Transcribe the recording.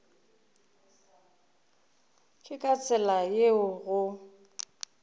ke ka tsela yeo go